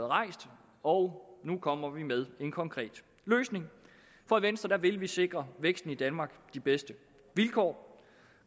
rejst og nu kommer vi med en konkret løsning for i venstre vil vi sikre væksten i danmark de bedste vilkår